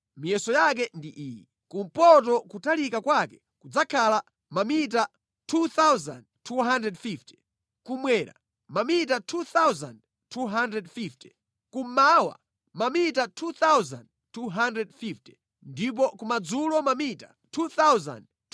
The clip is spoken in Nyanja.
Miyeso yake ndi iyi: kumpoto kutalika kwake kudzakhala mamita 2,250, kummwera mamita 2,250, kummawa mamita 2,250 ndipo kumadzulo mamita 2,250.